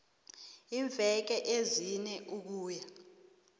iimveke ezine ukuya